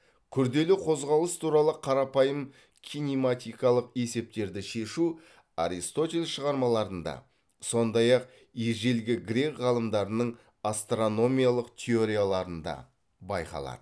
күрделі қозғалыс туралы қарапайым кинематикалық есептерді шешу аристотель шығармаларында сондай ақ ежелгі грек ғалымдарының астрономиялық теорияларында байқалады